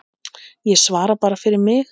Ég svara bara fyrir mig.